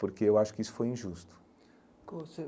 Porque eu acho que isso foi injusto.